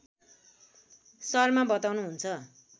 शर्मा बताउनुहुन्छ